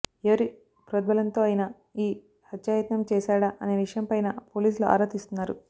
ఎవరి ప్రోద్బలంతో అయినా ఈ హత్యాయత్నం చేశాడా అనే విషయంపైనా పోలీసులు ఆరా తీస్తున్నారు